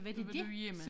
Så var du hjemme